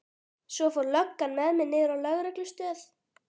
Svo fór löggan með mig niður á lögreglustöð.